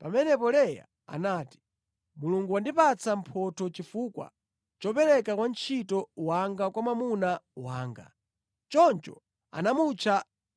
Pamenepo Leya anati, “Mulungu wandipatsa mphotho chifukwa chopereka wantchito wanga kwa mwamuna wanga.” Choncho anamutcha